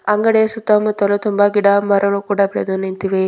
ಅಂಗಡಿಯ ಸುತ್ತಮುತ್ತಲು ತುಂಬ ಗಿಡಮರಗಳು ಕೂಡ ಬೆಳೆದು ನಿಂತಿವೆ.